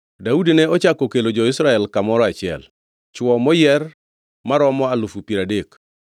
Daudi ne ochako okelo jo-Israel kamoro achiel, chwo moyier, maromo alufu piero adek.